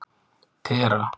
Tera